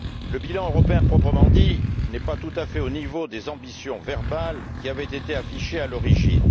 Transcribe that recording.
Le bilan européen proprement dit n'est pas tout à fait au niveau des ambitions verbales qui avaient été affichées à l'origine.